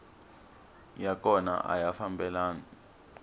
ya kona a ya fambelani